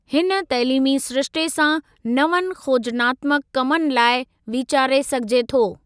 हिन तइलीमी सिरिश्ते सां नवनि खोजनात्मक कमनि लाइ वीचारे सघिजे थो।